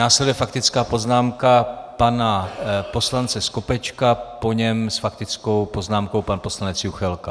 Následuje faktická poznámka pana poslance Skopečka, po něm s faktickou poznámkou pan poslanec Juchelka.